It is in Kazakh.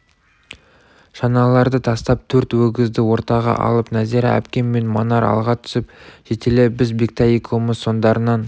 шаналарды тастап төрт өгізді ортаға алып нәзира әпкем мен манар алға түсіп жетелеп біз бектай екеуміз соңдарынан